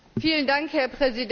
Herr Präsident!